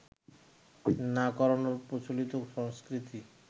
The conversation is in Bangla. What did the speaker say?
না করানোর প্রচলিত সংস্কৃতি